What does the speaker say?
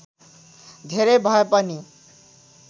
धेरै भए पनि